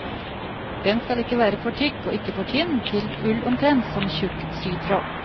Den skal ikke være for tykk og ikke for tynn, til ull omtrent som tjukk sytråd.